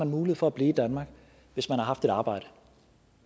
mulighed for at blive i danmark hvis man har haft et arbejde